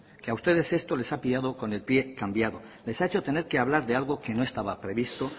que a ustedes esto les ha pillado con el pie cambiado les ha hecho tener que hablar de algo que no estaba previsto